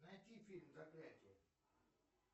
найти фильм заклятие